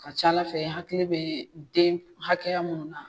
Ka ca Ala fɛ hakili bee den hakɛya mun na